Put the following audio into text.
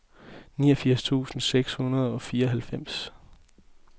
niogfirs tusind seks hundrede og fireoghalvfems